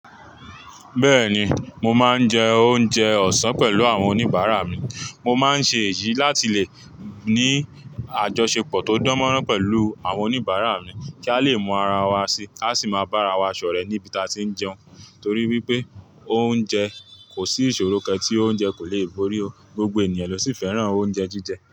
Bẹ́ẹ̀ni, mo máa ń jẹ oúnjẹ ọ̀sán pẹ̀lú àwọn oníbàárà mi. Mo máa ń ṣe èyí láti lè ní àjọṣepọ̀ tó dánmọ́nrán pẹ̀lú àwọn oníbàárà mi kí a lè mú ara wa sí, ka sì máa bá ara wa ṣọ̀rẹ́ níbi tí a ti ń jẹun. Torí wípé oúnjẹ, kò sí ìṣòro kan tí oúnjẹ kò lè borí. Gbogbo ènìyàn lọ́ sì fẹ́ràn oúnjẹ jíjẹ.